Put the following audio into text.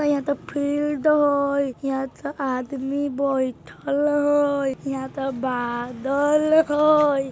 यहां तअ फील्ड हय यहां तअ आदमी बैठाल हय यहाँ तअ बादल हय।